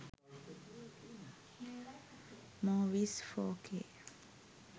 movies 4k